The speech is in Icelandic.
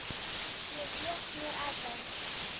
Ég vék mér að þeim.